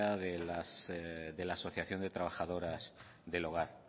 de la asociación de las trabajadoras del hogar